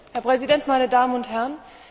Herr Präsident, meine Damen und Herren!